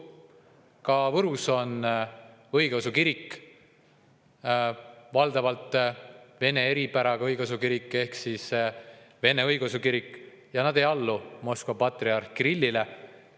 Ka Võrus on õigeusu kirik, valdavalt vene eripäraga õigeusu kirik ehk vene õigeusu kirik, ja nad ei allu Moskva patriarh Kirillile.